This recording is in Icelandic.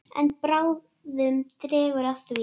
En bráðum dregur að því.